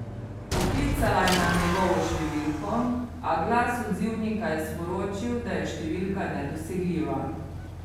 Poklicala je na njegovo številko, a glas odzivnika je sporočil, da je številka nedosegljiva.